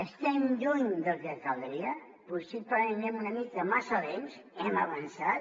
estem lluny del que caldria possiblement anem una mica massa lents hem avançat